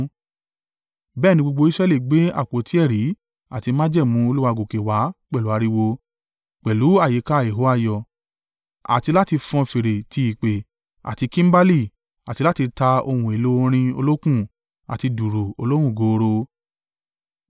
Bẹ́ẹ̀ ni gbogbo Israẹli gbé àpótí ẹ̀rí àti májẹ̀mú Olúwa gòkè wá pẹ̀lú ariwo, pẹ̀lú àyíká ìhó ayọ̀ àti láti fọn fèrè ti ìpè, àti kimbali, àti láti ta ohun èlò orin olókùn àti dùùrù olóhùn gooro.